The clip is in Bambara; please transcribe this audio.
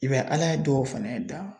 I b'a ye ala ye dɔw fɛnɛ dan